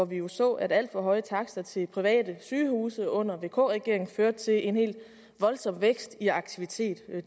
vi jo så at alt for høje takster til private sygehuse under vk regeringen førte til en voldsom vækst i aktiviteten det